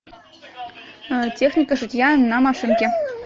техника шитья на машинке